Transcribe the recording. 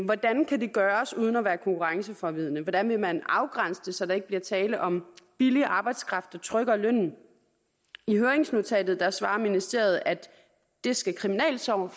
hvordan kan det gøres uden at være konkurrenceforvridende hvordan vil man afgrænse det så der ikke bliver tale om billig arbejdskraft der trykker lønnen i høringsnotatet svarer ministeriet at det skal kriminalforsorgen